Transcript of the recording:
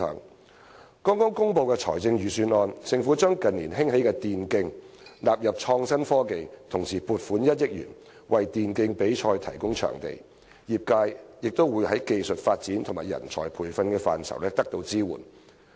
在剛剛公布的財政預算案中，政府將近年興起的電子競技納入創新科技，同時撥款1億元，為電競比賽提供場地，業界也會在技術發展和人才培訓等範疇得到支援。